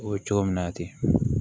O ye cogo min na ten